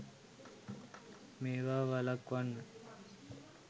මේවා වළක්වන්න